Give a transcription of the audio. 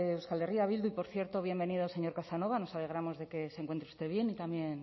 euskal herria bildu y por cierto bienvenido señor casanova nos alegramos de que se encuentre usted bien y también